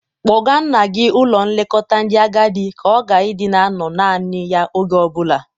Kpọga nna gi ụlọ nlekota ndị agadị ka ọ gara ị dị na-anọ nani ya oge o bụla!